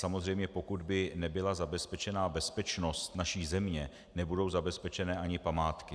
Samozřejmě, pokud by nebyla zabezpečena bezpečnost naší země, nebudou zabezpečeny ani památky.